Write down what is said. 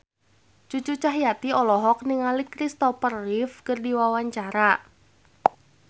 Cucu Cahyati olohok ningali Christopher Reeve keur diwawancara